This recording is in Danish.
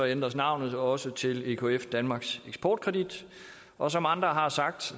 ændres navnet også til ekf danmarks eksportkredit og som andre har sagt